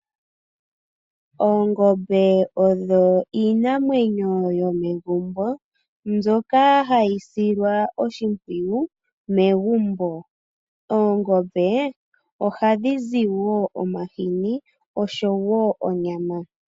Oongombe odho iinamwenyo yomegumbo, mbyoka hayisilwa oshimpwiyu megumbo. Oongombe ohadhizi woo omashini osho wo onyama.